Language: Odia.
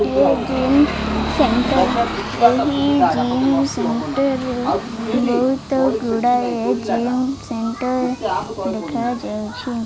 ଏହି ଜିମ୍ ସେଣ୍ଟର୍ ଏହି ଜିମ୍ ସେଣ୍ଟର୍ ରେ ବୋହୁତ ଗୁଡ଼ାଏ ଜିମ୍ ସେଣ୍ଟର୍ ଦେଖାଯାଉଛି।